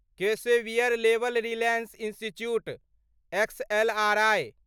Xavier labour relations institute XLRI